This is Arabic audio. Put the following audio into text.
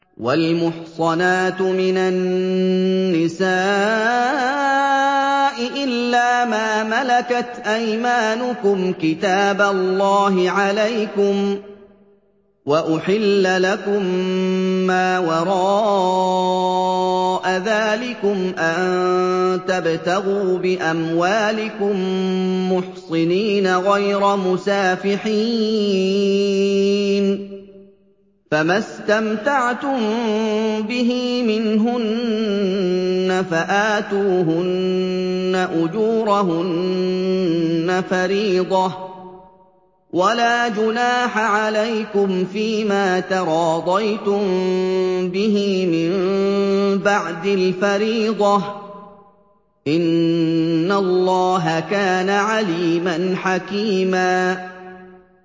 ۞ وَالْمُحْصَنَاتُ مِنَ النِّسَاءِ إِلَّا مَا مَلَكَتْ أَيْمَانُكُمْ ۖ كِتَابَ اللَّهِ عَلَيْكُمْ ۚ وَأُحِلَّ لَكُم مَّا وَرَاءَ ذَٰلِكُمْ أَن تَبْتَغُوا بِأَمْوَالِكُم مُّحْصِنِينَ غَيْرَ مُسَافِحِينَ ۚ فَمَا اسْتَمْتَعْتُم بِهِ مِنْهُنَّ فَآتُوهُنَّ أُجُورَهُنَّ فَرِيضَةً ۚ وَلَا جُنَاحَ عَلَيْكُمْ فِيمَا تَرَاضَيْتُم بِهِ مِن بَعْدِ الْفَرِيضَةِ ۚ إِنَّ اللَّهَ كَانَ عَلِيمًا حَكِيمًا